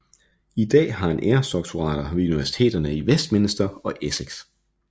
I dag har han æresdoktorater ved universiteterne i Westminster og Essex